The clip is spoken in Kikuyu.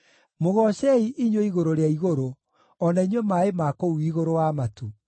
Mũgoocei, inyuĩ igũrũ rĩa igũrũ, o na inyuĩ maaĩ ma kũu igũrũ wa matu.